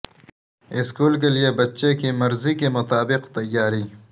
school کے لئے بچے کی مرضی کے مطابق تیاری